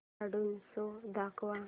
cartoon show दाखव